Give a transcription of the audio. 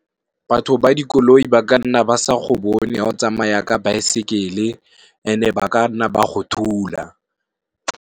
Batho ba dikoloi ba ka nna ba sa go bone ga o tsamaya ka baesekele and e ba ka nna ba go thula.